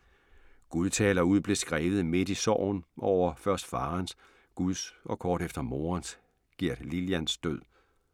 Gud taler ud blev skrevet midt i sorgen over først farens, Guds og kort efter morens, Gerd Lilians død.